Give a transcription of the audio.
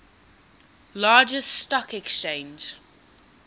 largest stock exchange